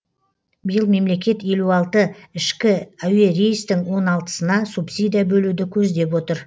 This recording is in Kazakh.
биыл мемлекет елу алты ішкі әуе рейстің он алтысына субсидия бөлуді көздеп отыр